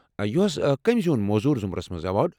یِہُس کٔمہِ زیوُن مۄزوُر ضٗمرس منٛز ایوارڈ؟